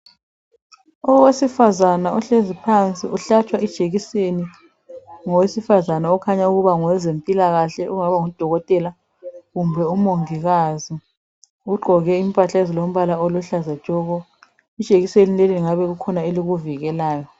Owesifazana ohlezi phansi uhlatshwa ijekiseni ngowesifazana okhanya ukuba ngowezempilakahle ongaba ngudokotela kumbe umongikazi. Ugqoke impahla ezilombala oluhlaza tshoko. Ijekiseni leli kungabe kukhona elikuvikelayo.